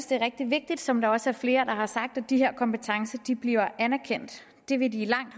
det er rigtig vigtigt som der også er flere der har sagt at de her kompetencer bliver anerkendt det vil de i langt